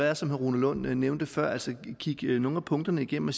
er som herre rune lund nævnte før altså kigge nogle af punkterne igennem og